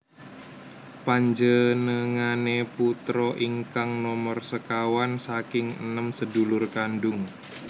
Panjenengane putra ingkang nomer sekawan saking enem sedulur kandung